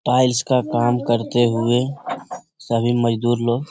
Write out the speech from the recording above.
tiles का काम करते हुए सभी मजदूर लोग --